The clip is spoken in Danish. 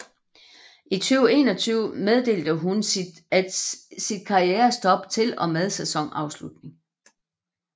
I 2021 meddelte hun at sit karrierestop til og med sæsonafslutning